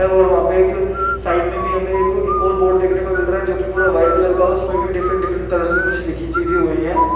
और वहा पे एक साइड मे भी हमे एक ओर बोर्ड देखने को मिल रहा है जोकि पूरा व्हाइट कलर का है इसमे भी डिफ्रन्ट-डिफ्रन्ट कलर्स मे लिखी चीजे हुई है।